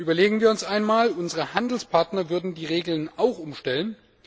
Überlegen wir uns einmal, unsere Handelspartner würden die Regeln auch umstellen.